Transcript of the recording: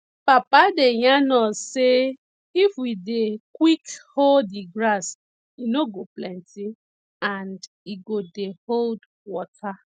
papa dey yarn us sey if we dey quick hoe di grass e no go plenty and e go dey hold water